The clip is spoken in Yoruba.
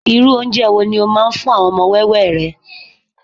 irú ounje wo ni o ma n fún àwọn ọmọ wẹwẹ rẹ